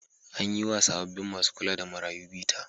An yi wa sabbin masu kula da marayu bita.